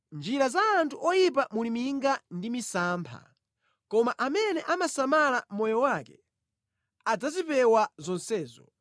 Mʼnjira za anthu oyipa muli minga ndi misampha, koma amene amasala moyo wake adzazipewa zonsezo.